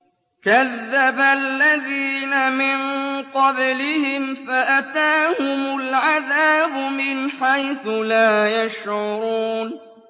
كَذَّبَ الَّذِينَ مِن قَبْلِهِمْ فَأَتَاهُمُ الْعَذَابُ مِنْ حَيْثُ لَا يَشْعُرُونَ